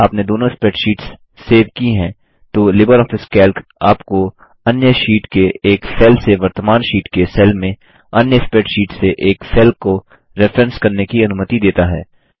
यदि आपने दोनों स्प्रैडशीट्स सेव की हैं तो लिबर ऑफिस कैल्क आपको अन्य शीट के एक सेल से वर्तमान शीट के सेल में अन्य स्प्रैडशीट से एक सेल को रेफरेंस करने की अनुमति देता है